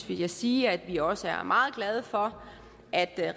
vil jeg sige at vi også er meget glade for at